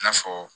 I n'a fɔ